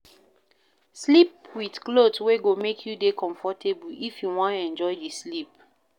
Sleep with cloth wey go make you dey comfortable if you wan enjoy di sleep